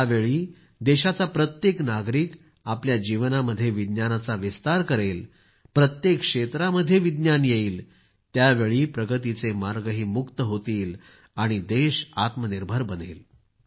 ज्यावेळी देशाचा प्रत्येक नागरिक आपल्या जीवनामध्ये विज्ञानाचा विस्तार करेल प्रत्येक क्षेत्रामध्ये विज्ञान येईल त्यावेळी प्रगतीचे मार्गही मुक्त होणार आहेत आणि देश आत्मनिर्भर बनणार आहे